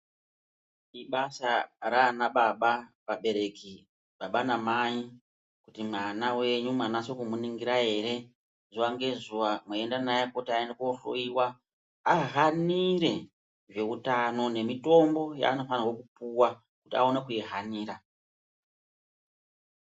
Ibasa raanababa, vabereki, baba namai kuti mwana wenyu mwanase kumuningira ere zuwa ngezuwa mweienda naye kuti aende koohloyiwa ahanire zveutano nemitombo yaanofanirwe kupuwa kuti aone kuihanira.